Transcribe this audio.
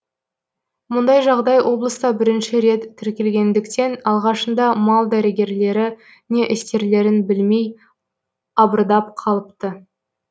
мұндай жағдай облыста бірінші рет тіркелгендіктен алғашында мал дәрігерлері не істерлерін білмей абырдап қалыпты